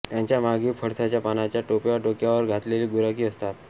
त्यांच्या मागे पळसाच्या पानाच्या टोप्या डोक्यावर घातलेले गुराखी असतात